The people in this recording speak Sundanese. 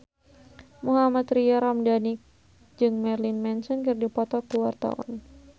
Mohammad Tria Ramadhani jeung Marilyn Manson keur dipoto ku wartawan